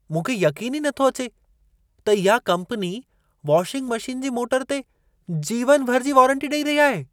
मूंखे यक़ीन ई नथो अचे त इहा कम्पनी वॉशिंग मशीन जी मोटर ते जीवनभर जी वॉरंटी ॾेई रही आहे।